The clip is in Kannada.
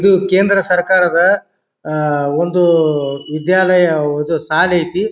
ಇದು ಕೇಂದ್ರ ಸರ್ಕಾರದ ಅಹ್ ಒಂದು ಉದ್ಯಾಲಯ ಹೌದು ಶಾಲೆ ಐತಿ.